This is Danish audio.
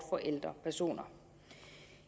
for ældre personer